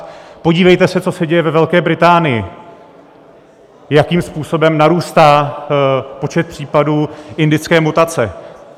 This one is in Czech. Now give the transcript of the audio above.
Podívejte se, co se děje ve Velké Británii, jakým způsobem narůstá počet případů indické mutace.